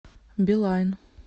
билайн